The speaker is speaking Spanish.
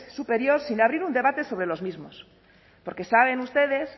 superior sin abrir un debate sobre los mismos porque saben ustedes